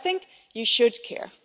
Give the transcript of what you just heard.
But I think you should care.